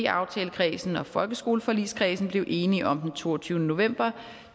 aftalekredsen og folkeskoleforligskredsen blev enige om den toogtyvende november